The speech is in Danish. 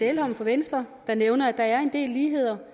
elholm fra venstre der nævner at der er en del ligheder